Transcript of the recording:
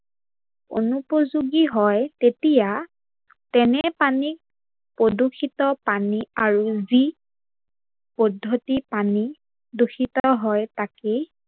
অনুপযোগী হয় তেতিয়া তেনে পানীক প্ৰদূৰ্ষিত পানী আৰু যি পদ্ধতিত পানী দূষিত হয় তাকেই